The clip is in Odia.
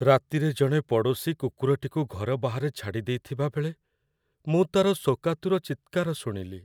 ରାତିରେ ଜଣେ ପଡ଼ୋଶୀ କୁକୁରଟିକୁ ଘର ବାହାରେ ଛାଡ଼ିଦେଇଥିବାବେଳେ ମୁଁ ତା'ର ଶୋକାତୁର ଚିତ୍କାର ଶୁଣିଲି।